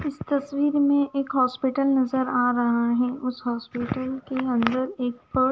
इस तस्वीर में एक हॉस्पिटल नजर आ रहा है उस हॉस्पिटल के अंदर एक प--